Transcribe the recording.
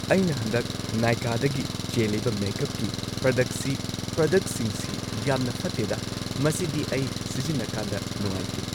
ꯑꯩꯅ ꯍꯟꯗꯛ ꯅꯥꯏꯀꯥꯗꯒꯤ ꯆꯦꯜꯂꯤꯕ ꯃꯦꯀꯞꯀꯤ ꯄ꯭ꯔꯗꯛꯁꯤ ꯄ꯭ꯔꯗꯛꯁꯤꯡꯁꯤ ꯌꯥꯝꯅ ꯐꯠꯇꯦꯗ ꯃꯁꯤꯗꯤ ꯑꯩ ꯁꯤꯖꯤꯟꯅꯀꯥꯟꯗ ꯅꯨꯉꯥꯏꯇꯦ꯫